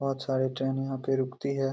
बहुत सारी ट्रेन यहाँ पे रूकती हैं।